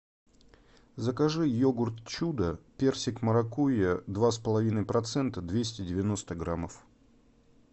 закажи йогурт чудо персик маракуйя два с половиной процента двести девяносто граммов